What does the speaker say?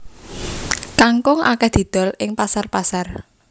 Kangkung akèh didol ing pasar pasar